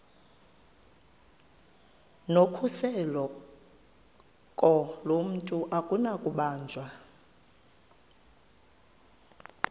nokhuseleko lomntu akunakubanjwa